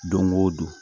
Don o don